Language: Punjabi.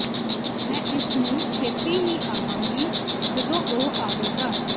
ਮੈਂ ਇਸ ਨੂੰ ਛੇਤੀ ਹੀ ਆਵਾਂਗੀ ਜਦੋਂ ਉਹ ਆਵੇਗਾ